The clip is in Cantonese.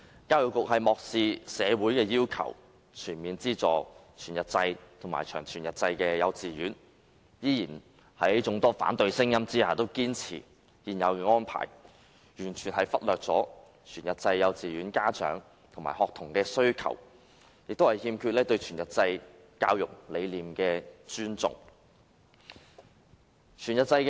教育局漠視社會要求，未有全面資助全日制及長全日制幼稚園，在眾多反對聲音下仍堅持現有安排，完全忽略全日制幼稚園家長及學童的需求，對全日制教育理念亦有欠尊重。